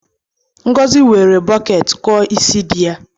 Ngozi were bọket kụọ isi di ya.